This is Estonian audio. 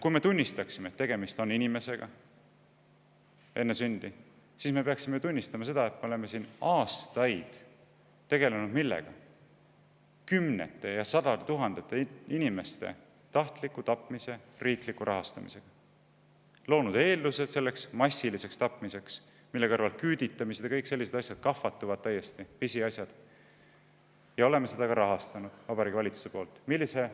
Kui me tunnistaksime, et tegemist on inimesega enne sündi, siis meil tuleb tunnistada ka seda, et me oleme aastaid tegelenud kümnete ja sadade tuhandete inimeste tahtliku tapmise riikliku rahastamisega: loonud eeldused massiliseks tapmiseks, mille kõrval küüditamised ja muud sellised asjad täiesti kahvatuvad – pisiasjad –, ja seda Vabariigi Valitsuse poolt ka rahastanud.